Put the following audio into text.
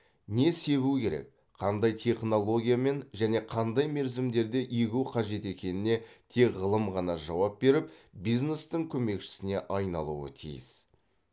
не себу керек қандай технологиямен және қандай мерзімдерде егу қажет екеніне тек ғылым ғана жауап беріп бизнестің көмекшісіне айналуы тиіс